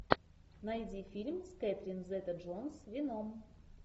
найди фильм с кэтрин зета джонс веном